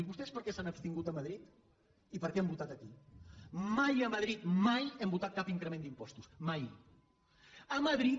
diu vostès per que s’han abstingut a madrid i per què han votat aquí mai a madrid mai hem votat cap increment d’impostos mai a madrid